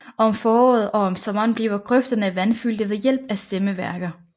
Om foråret og om sommeren bliver grøfterne vandfyldte ved hjælp af stemmeværker